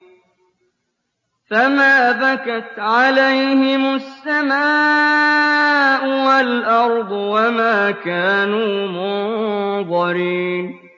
فَمَا بَكَتْ عَلَيْهِمُ السَّمَاءُ وَالْأَرْضُ وَمَا كَانُوا مُنظَرِينَ